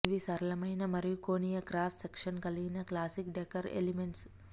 ఇవి సరళమైన మరియు కోణీయ క్రాస్ సెక్షన్ కలిగిన క్లాసిక్ డెకర్ ఎలిమెంట్స్